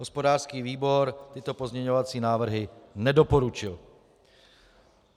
Hospodářský výbor tyto pozměňovací návrhy nedoporučuje.